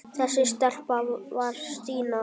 Þessi stelpa var Stína.